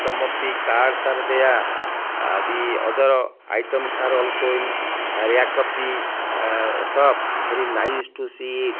some of the cards are there ah the other items are also in rackup the ah show up bery nice to see it.